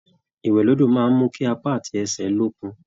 Ìwẹ̀ l'ódò máa n mú kí apá àti ẹsẹ l'ókun.